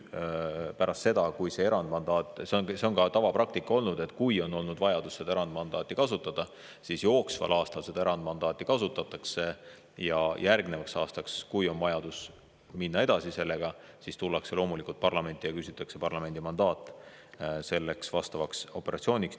See on ka tavapraktika olnud, et kui on olnud vajadus erandmandaati kasutada, siis jooksval aastal seda erandmandaati kasutatakse ja järgnevaks aastaks, kui on vajadus sellega edasi minna, tullakse loomulikult parlamenti ja küsitakse parlamendi mandaati operatsiooniks.